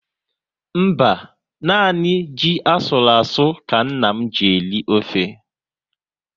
Mba, nanị ji asụru asụ ka nna m ji eri ofe